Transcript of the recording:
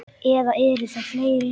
Eða eru þær fleiri?